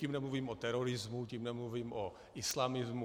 Tím nemluvím o terorismu, tím nemluvím o islamismu.